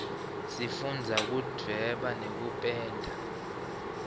sifundza kudvweba nekupenda